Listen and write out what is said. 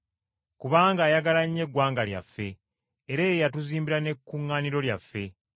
kubanga ayagala nnyo eggwanga lyaffe, era ye yatuzimbira ne kkuŋŋaaniro lyaffe!”